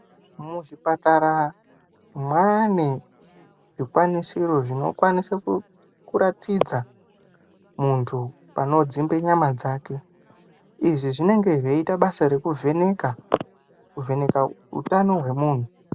Muzvipatara mwaane zvikwanisiro zvinokwanise kuratidza muntu panodzimbe nyama dzake izvi zvinenge zveita basa rekuvheneka, kuvheneka utano hwemuntu.